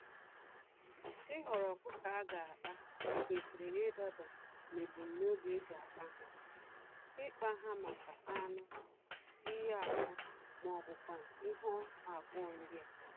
Ịhọrọ ọkụkọ aga akpa, kwesịrị idaba nebum nobi eji akpa há; ikpa ha màkà anụ, iyi ákwà mọbụkwanụ̀ ihe abụọ ndịa.